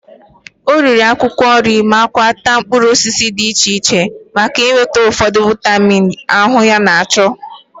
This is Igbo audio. O riri akwụkwọ nri ma takwa mkpụrụ osisi dị iche iche maka inweta ụfọdụ vaịmin ahụ ya chọrọ.